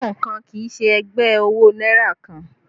Pọ́ùn kan kì í ṣe ẹgbẹ́ owó náírà kan